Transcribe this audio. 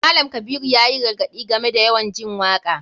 Malam kabiru yayi gargaɗi game da yawan jin waka.